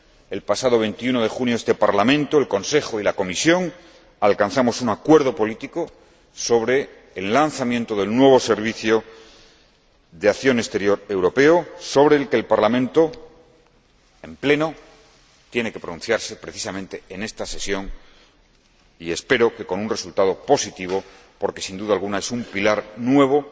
El pasado 21 de junio, este Parlamento, el Consejo y la Comisión alcanzamos un acuerdo político sobre el lanzamiento del nuevo Servicio de Acción Exterior Europeo, sobre el que el Parlamento, en Pleno, tiene que pronunciarse, precisamente en este período parcial de sesiones, y espero que con un resultado positivo porque, sin duda alguna, es un pilar nuevo,